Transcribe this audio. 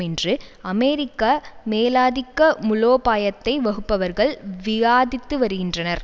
என்று அமெரிக்க மேலாதிக்க முலோபாயத்தை வகுப்பவர்கள் வியாதித்து வருகின்றனர்